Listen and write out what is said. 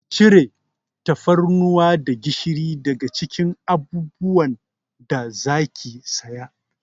Ki cire tafarnuwa da gishiri daga cikin abubuwan da za ki saya!